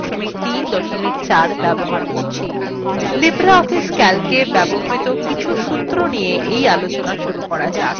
libreoffice calcএ ব্যবহৃত কিছু সূত্র নিয়ে এই আলোচনা শুরু করা যাক